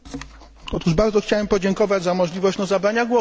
Otóż bardzo chciałbym podziękować za możliwość zabrania głosu.